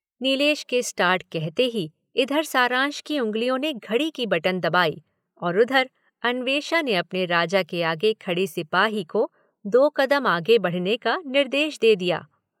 नीलेश के स्टार्ट कहते ही इधर सारांश की उंगलियों ने घड़ी की बटन दबाई और उधर अन्वेषा ने अपने राजा के आगे खड़े सिपाही को दो कदम आगे बढ़ने का निर्देश दे दिया।